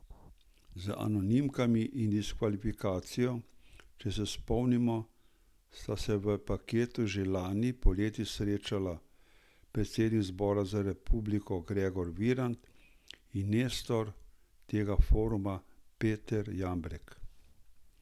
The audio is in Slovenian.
Z anonimkami in diskvalifikacijo, če se spomnimo, sta se v paketu že lani poleti srečala predsednik Zbora za republiko Gregor Virant in nestor tega foruma Peter Jambrek.